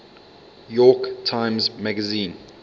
york times magazine